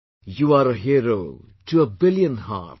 You are a hero to a billion hearts